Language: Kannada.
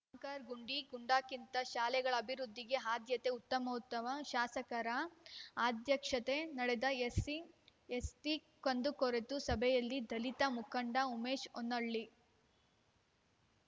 ಆಂಕರ್‌ ಗುಡಿ ಗುಂಡಾರಕ್ಕಿಂತ ಶಾಲೆಗಳ ಅಭಿವೃದ್ಧಿಗೆ ಆದ್ಯತೆ ಉತ್ತಮೋತ್ತಮ ಶಾಸಕರ ಅಧ್ಯಕ್ಷತೆ ನಡೆದ ಎಸ್ಸಿ ಎಸ್ಟಿಕುಂದುಕೊರತೆ ಸಭೆಯಲ್ಲಿ ದಲಿತ ಮುಖಂಡ ಉಮೇಶ್‌ ಹೊನ್ನಾಳಿ